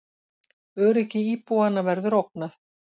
Öryggi íbúanna verður ógnað